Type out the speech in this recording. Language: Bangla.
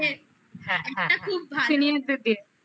হ্যাঁ হ্যাঁ senior দের দিয়ে